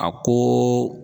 A ko